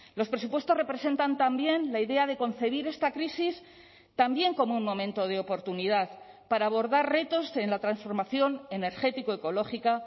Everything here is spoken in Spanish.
los presupuestos representan también la idea de concebir esta crisis también como un momento de oportunidad para abordar retos en la transformación energético ecológica